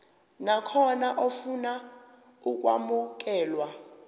nakhona ofuna ukwamukelwa